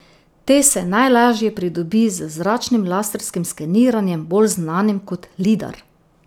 Te se najlažje pridobi z zračnim laserskim skeniranjem, bolj znanim kot lidar.